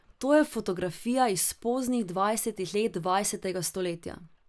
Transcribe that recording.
To je fotografija iz poznih dvajsetih let dvajsetega stoletja.